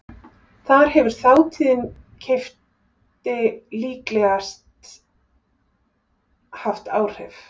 Þar hefur þátíðin keypti líklegast haft áhrif.